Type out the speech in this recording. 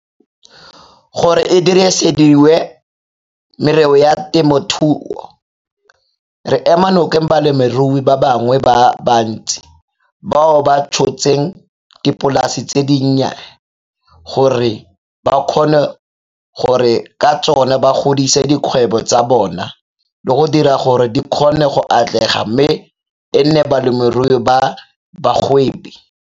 gore e dirisediwe merero ya temothuo, re ema nokeng balemirui ba bangwe ba bantsi bao ba tshotseng dipolasi tse dinnye gore ba kgone gore ka tsona ba godise dikgwebo tsa bona le go dira gore di kgone go atlega mme e nne balemirui ba bagwebi.